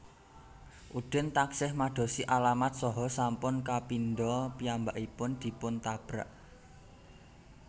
Udin taksih madosi alamat saha sampun kapindha piyambakipun dipun tabrak